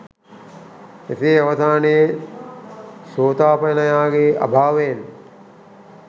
එසේ අවසානයේ සෝතාපන්නයාගේ අභාවයෙන්